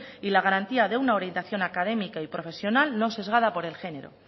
y la garantía de una orientación académica y profesional no sesgada por el género